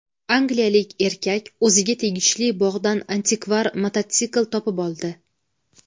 Angliyalik erkak o‘ziga tegishli bog‘dan antikvar mototsikl topib oldi.